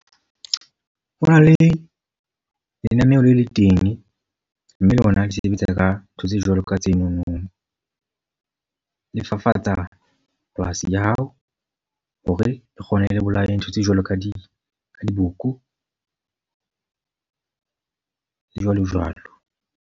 Ho na le lenaneo le le teng. Mme lona le sebetsa ka ntho tse jwalo ka tsenono. Le fafatsa polasi ya hao hore re kgone le bolaye ntho tse jwalo ka di ka diboko, le jwalo jwalo.